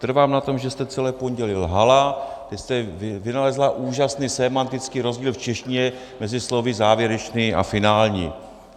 Trvám na tom, že jste celé pondělí lhala, že jste vynalezla úžasný sémantický rozdíl v češtině mezi slovy závěrečný a finální.